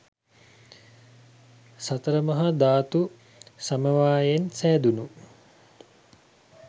සතර මහා ධාතු සමවායයෙන් සෑදුණු